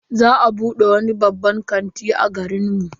Za a bude wani babban kanti a garin mu.